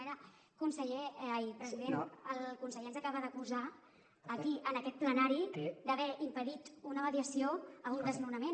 el conseller ens acaba d’acusar aquí en aquest plenari d’haver impedit una mediació a un desnonament